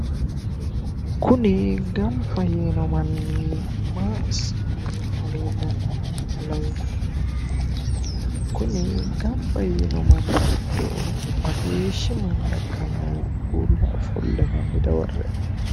kuni gamba yiino manni maa assani leellanoha lawanno'ne? kuni gamba yiino manni giddo mageeshshi manna ikkanohu uulla ofole no? hanni dawarre''e.